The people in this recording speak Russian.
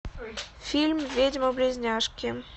фильм ведьмы близняшки